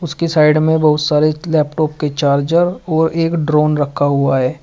उसकी साइड में बहुत सारे लैपटॉप के चार्जर और एक ड्रोन रखा हुआ है।